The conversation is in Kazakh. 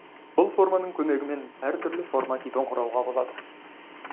бұл форманың көмегімен әртүрлі форма типін құруға болады